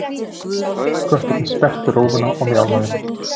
Kötturinn sperrti rófuna og mjálmaði.